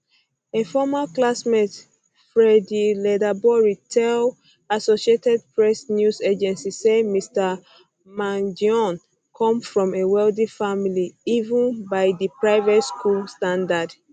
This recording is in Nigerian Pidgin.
a former classmate freddie leatherbury tell associated press news agency say mr um mangione come from a wealthy family even by di um private school standards